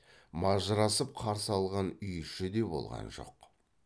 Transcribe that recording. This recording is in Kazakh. мажырасып қарсы алған үй іші де болған жоқ